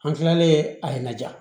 An kilalen a ye na ja